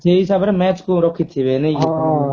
ସେଇ ହିସାବରେ match କୁ ରଖିଥିବେ ନାଇଁ କି